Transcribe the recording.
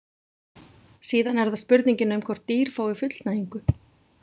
Síðan er það spurningin um hvort dýr fái fullnægingu.